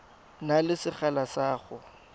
na le sekgala sa go